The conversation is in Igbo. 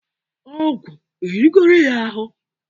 ọgwu erigoro ya ahụ?